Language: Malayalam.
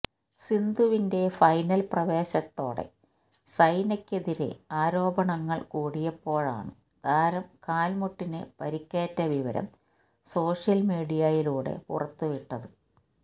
സിന്ധുവിന്റെ ഫൈനൽ പ്രവേശത്തോടെ സൈനയ്ക്കെതിരെ ആരോപണങ്ങള് കൂടിയപ്പോഴാണ് താരം കാൽമുട്ടിന് പരിക്കേറ്റ വിവരം സോഷ്യൽമീഡിയയിലൂടെ പുറത്ത് വിട്ടത്